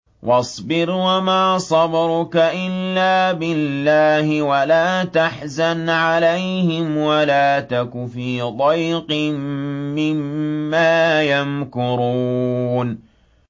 وَاصْبِرْ وَمَا صَبْرُكَ إِلَّا بِاللَّهِ ۚ وَلَا تَحْزَنْ عَلَيْهِمْ وَلَا تَكُ فِي ضَيْقٍ مِّمَّا يَمْكُرُونَ